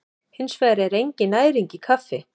Hins vegar er engin næring í kaffi.